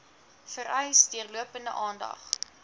vereis deurlopende aandag